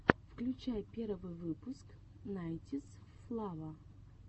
включай первый выпуск найнтисфлава